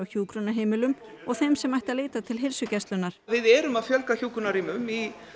hjúkrunarheimilum og þeim sem ættu að leita til heilsugæslunnar við erum að fjölga hjúkrunarrýmum í